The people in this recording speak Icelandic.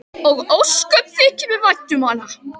Og ósköp þykir mér vænt um hana.